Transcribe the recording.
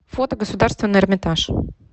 фото государственный эрмитаж